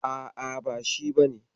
A'a, ba shi bane.